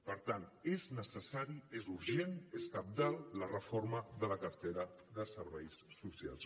per tant és necessari és urgent és cabdal la reforma de la cartera de serveis socials